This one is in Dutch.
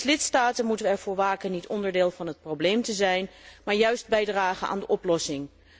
Als lidstaten moeten wij ervoor waken niet onderdeel van het probleem te zijn, maar juist bijdragen aan de oplossing.